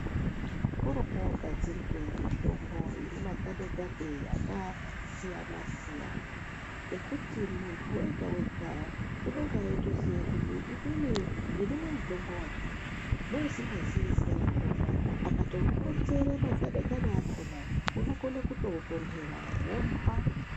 Kuri kugadzirwe mitombo inemagade-gade akasiyana-siyana, ekuti muntu vega-vega unonga eitoziya kuti inini ndinomwa mutombo vakati. Neusingazii zita rakona akatokuronzere magade-gade akona unokona kutotonhera vomupa.